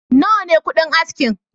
Nawa ne kuɗin askin?